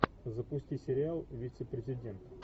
запусти сериал вице президент